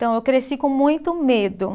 Então, eu cresci com muito medo.